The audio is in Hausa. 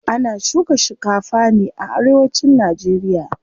Ana shuka shikafa ne a arewacin nageriya.